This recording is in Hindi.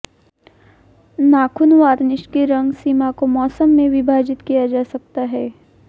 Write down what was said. नाखून वार्निश की रंग सीमा को मौसम में विभाजित किया जा सकता है